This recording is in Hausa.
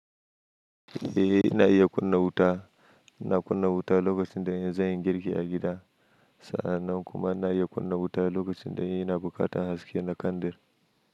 Eh ina iya kunna wuta. Ina kunna wuta lokacin da zan yi girki a gida. Sannan kuma ina iya kunna wuta lokacin da in ina buƙatar haske na kandir.